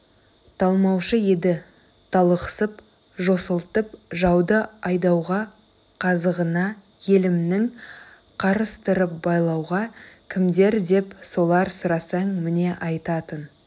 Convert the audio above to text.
талмаушы еді талықсып жосылтып жауды айдауға қазығына елімнің қарыстырып байлауға кімдер деп солар сұрасаң міне айтатын